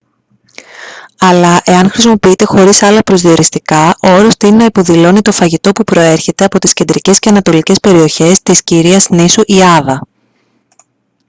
αλλά εάν χρησιμοποιείται χωρίς άλλα προσδιοριστικά ο όρος τείνει να υποδηλώνει το φαγητό που προέρχεται από τις κεντρικές και ανατολικές περιοχές της κυρίας νήσου ιάβα